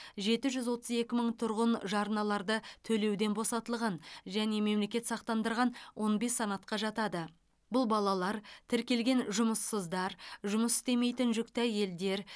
жеті жүз отыз екі мың тұрғын жарналарды төлеуден босатылған және мемлекет сақтандырған он бес санатқа жатады бұл балалар тіркелген жұмыссыздар жұмыс істемейтін жүкті әйелдер